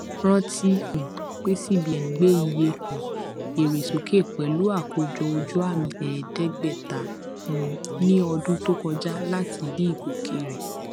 rántí um pé cbn gbé ìyè um èrè sókè pẹlú àkójọ ojuami ẹẹdẹgbẹta um ní ọdún tó kọjá láti dí ìgòkè rẹ